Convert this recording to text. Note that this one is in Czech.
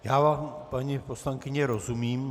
Já vám, paní poslankyně rozumím.